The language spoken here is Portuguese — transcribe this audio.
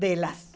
delas.